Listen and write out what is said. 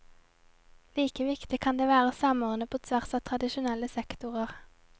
Like viktig kan det være å samordne på tvers av tradisjonelle sektorer.